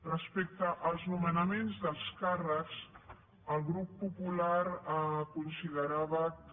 respecte als nomenaments dels càrrecs el grup popular considerava que